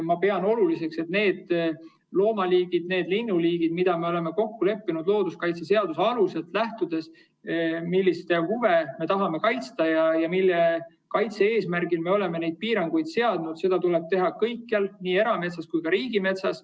Ma pean oluliseks, et neid loomaliike ja linnuliike, mille puhul me oleme looduskaitseseaduse alusel kokku leppinud, et nende huve me tahame kaitsta ja nende kaitse eesmärgil me oleme neid piiranguid seadnud, tuleb kaitsta kõikjal, nii erametsas kui ka riigimetsas.